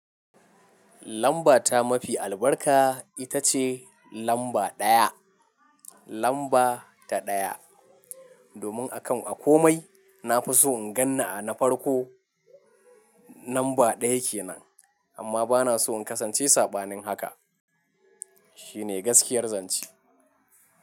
Lamba ta mafi albarka ita ce lamba ɗaya. Lamba ta ɗaya. Domin akan a komai na fi so in gan ni a na farko, lamba ɗaya ke nan. Amma ba na so in kasance saɓanin haka. Shi ne gaskiyar zance.